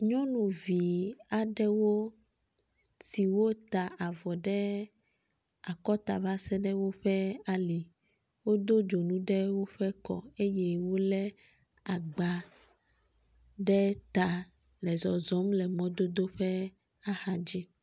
Nyɔnuvi aɖewo siwo ta avɔ ɖe akɔta va se ɖe woƒe ali. Wodo dzonu eɖe woƒe kɔ eye wo le agba ɖe ta le zzɔzɔm le mɔdodo ƒe axa dzi.